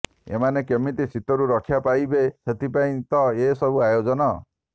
ଏମାନେ କେମିତି ଶୀତରୁ ରକ୍ଷା ପାଇବେ ସେଥିପାଇଁ ତ ଏ ସବୁ ଆୟୋଜନ